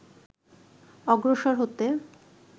অগ্রসর হতে